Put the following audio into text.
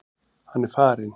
Hann er farinn.